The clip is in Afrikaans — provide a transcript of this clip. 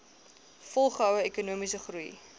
volgehoue ekonomiese groei